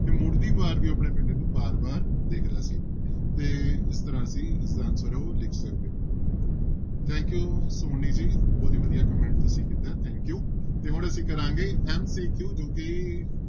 ਤੇ ਮੁੜਦੀ ਵਾਰ ਵੀ ਆਪਣੇ ਪਿੰਡ ਨੂੰ ਬਾਰ ਬਾਰ ਦੇਖਦਾ ਸੀ ਤੇ ਇਸ ਤਰ੍ਹਾਂ ਅਸੀਂ ਇਸਦਾ answer ਹੈ ਉਹ ਲਿਖ ਸਕਦੇ thank you ਸੋਨੀ ਜੀ ਬਹੁਤ ਹੀ ਵਧੀਆ comment ਤੁਸੀਂ ਕੀਤਾ ਹੈ thank you ਤੇ ਹੁਣ ਅਸੀਂ ਕਰਾਂਗੇ MCQ ਜੋ ਕਿ